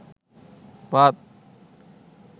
ভাত